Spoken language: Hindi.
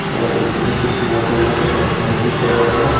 और इसमें कुछ मोटे मोटे पत्थर भी पड़े हैं।